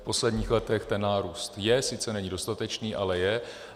V posledních letech ten nárůst je, sice není dostatečný, ale je.